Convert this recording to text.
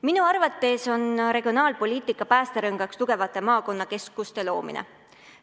Minu arvates on regionaalpoliitika päästerõngaks tugevate maakonnakeskuste loomine.